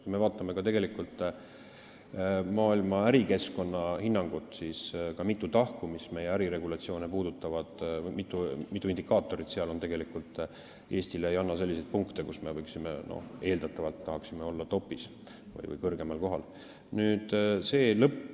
Kui me vaatame maailma ärikeskkonna hinnangut, siis näeme mitut meie äriregulatsioone puudutavat tahku, mitut indikaatorit, mis Eestile ei anna selliseid punkte, et me saaksime olla top'is või kõrgemal kohal, kus me eeldatavalt tahaksime olla.